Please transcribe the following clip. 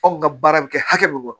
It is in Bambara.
Anw ka baara bɛ kɛ hakɛ min kɔnɔ